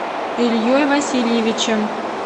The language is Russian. ильей васильевичем